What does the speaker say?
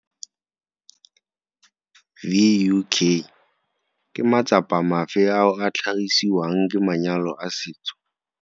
VUk. Ke matsapa mafe ao a tlhagisiwang ke manyalo a setso?